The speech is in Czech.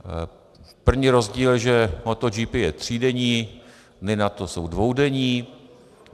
První rozdíl je, že Moto GP je třídenní, Dny NATO jsou dvoudenní.